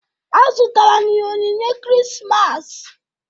A zụtara m ya onyinye Krismas.